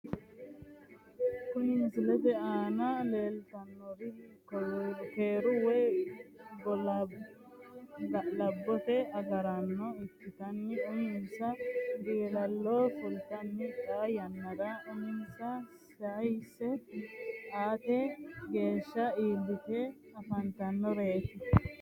Kuri misilete aana leeltannori keeru woy ga'labbote agaraano ikkitanni uminsa dilaala fultanni xaa yannara uminsa sayse aate geeshsha iillite afantannoreeti